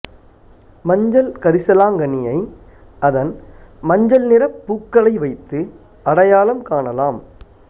மஞ்சள் கரிசலாங்கண்ணியை அதன் மஞ்சள் நிறப் பூக்களை வைத்து அடையாளம் காணலாம்